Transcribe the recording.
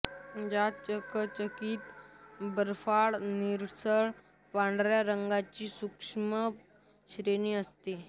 यात चकचकीत बर्फाळ निळसर पांढऱ्या रंगाची सूक्ष्म श्रेणी असते